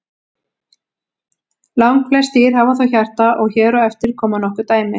Langflest dýr hafa þó hjarta og hér á eftir koma nokkur dæmi.